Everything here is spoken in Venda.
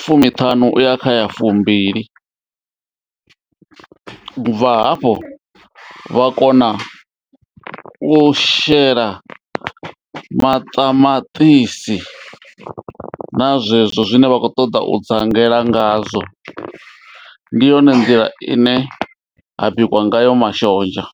fumiṱhanu uya kha ya fumbili u bva hafho vha kona u shela maṱamaṱisi na zwezwo zwine vha kho ṱoḓa u dzangela ngazwo. Ndi yone nḓila ine ha bikwa ngayo mashonzha.